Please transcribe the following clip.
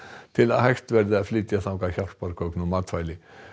til að hægt verði að flytja þangað hjálpargögn og matvæli